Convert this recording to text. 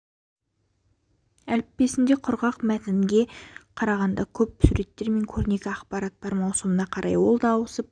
әліппесінде құрғақ мәтінге қарағанда көп суреттер мен көрнекі ақпарат бар маусымына қарай ол да ауысып